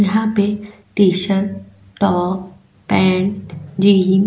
यहा पे T-shirt top pant jean --